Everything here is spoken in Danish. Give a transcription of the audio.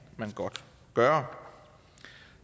man godt gøre